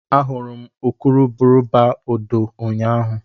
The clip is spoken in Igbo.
Ahụrụ m urukurubụba odo ụnyahụ